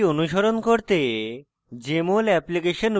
tutorial অনুসরণ করতে